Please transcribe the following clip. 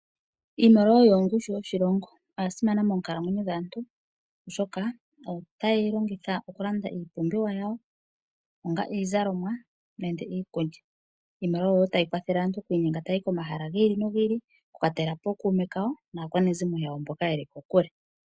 Iimaliwa oyo ongushu yoshilongo noya simana moonkalamwenyo dhaantu oshoka oyo wo taye yi longitha okulanda iipumbiwa yawo, onga iizalomwa nenge iikulya. Iimaliwa oyo wo tayi kwathele aantu okuya komahala gi ili nogi ili, okukwatela po ookuume kawo naakwanezimo yawo mboka yeli kokule.